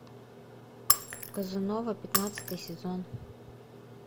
казанова пятнадцатый сезон